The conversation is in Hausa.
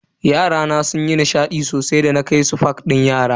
Yarana sunyi nishadi sosai da na kai su park na yara.